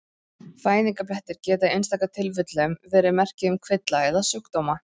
Fæðingarblettir geta í einstaka tilfellum verið merki um kvilla eða sjúkdóma.